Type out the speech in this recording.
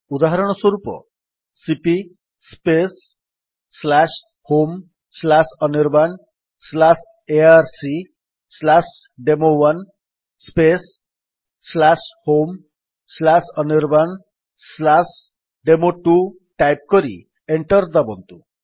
ଉଦାହରଣ ସ୍ୱରୂପ cp homeanirbanarcdemo1 homeanirbandemo2 type କରି ଏଣ୍ଟର୍ ଦାବନ୍ତୁ